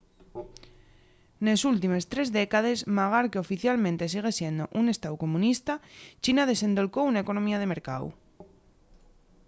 nes últimes tres décades magar qu’oficialmente sigue siendo un estáu comunista china desendolcó una economía de mercáu